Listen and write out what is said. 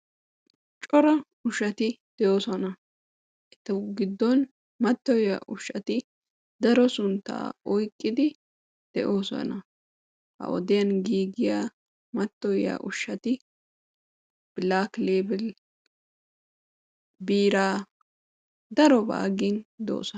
Cora ushshati de'oosona. etu giddon mattoyiyaa ushshati daro sunttaa oyqqidi de'oosona. ha wodiyaan giigiyaa maattoyiyaa ushshati blaklebil, biiraa darobaa gin doosona.